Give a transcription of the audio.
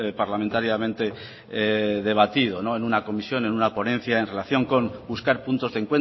parlamentariamente debatido en una comisión en una ponencia en relación con buscar puntos de